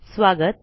स्वागत